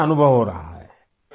کیسا محسوس ہو رہا ہے ؟